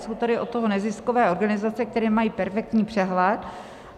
Jsou tady od toho neziskové organizace, které mají perfektní přehled.